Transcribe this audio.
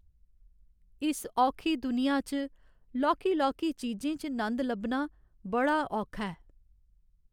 इस औखी दुनिया च लौह्की लौह्की चीजें च नंद लब्भना बड़ा औखा ऐ।